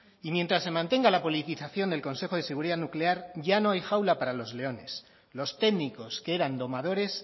y mientras se mantenga la politización del consejo de seguridad nuclear ya no hay jaula para los leones los técnicos que eran domadores